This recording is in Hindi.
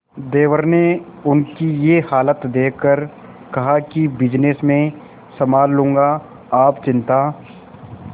देवर ने उनकी ये हालत देखकर कहा कि बिजनेस मैं संभाल लूंगा आप चिंता